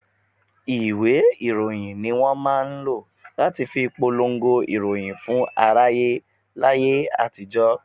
Ìwé ìròyìn ni wọn máa ń lọ láti fi polongo ìròyìn fún aráyé láyé àtijó.